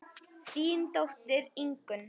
Þín dóttir Ingunn.